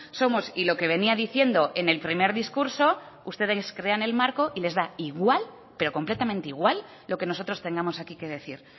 somos y lo que venía diciendo en el primer discurso ustedes crean el marco y les da igual pero completamente e igual lo que nosotros tengamos aquí que decir